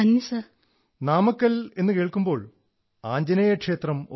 when I hear of Namakkal I think of the Anjaneyar temple